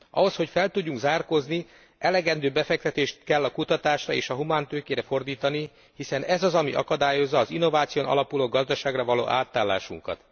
Ahhoz, hogy fel tudjunk zárkózni, elegendő befektetést kell a kutatásra és a humántőkére fordítani, hiszen ez az, ami akadályozza az innováción alapuló gazdaságra való átállásunkat.